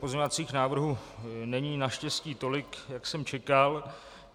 Pozměňovacích návrhů není naštěstí tolik, jak jsem čekal.